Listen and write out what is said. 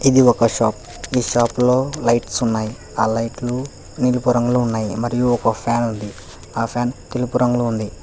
ఇది ఒక షాప్ ఈ షాప్ లో లైట్స్ ఉన్నాయి ఆ లైట్లు నీలుపు రంగులో ఉన్నాయి మరియు ఒక ఫ్యాన్ ఉంది ఆ ఫ్యాన్ తెలుపు రంగులో ఉంది.